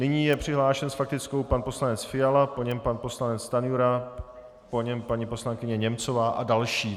Nyní je přihlášen s faktickou pan poslanec Fiala, po něm pan poslanec Stanjura, po něm paní poslankyně Němcová a další.